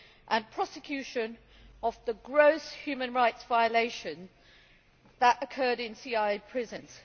and prosecution of the gross human rights violations that occurred in CIA prisons.